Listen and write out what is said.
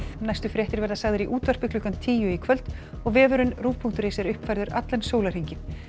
næstu fréttir verða sagðar í útvarpi klukkan tíu í kvöld og vefurinn rúv punktur is er uppfærður allan sólarhringinn